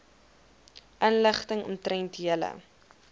inligting omtrent julle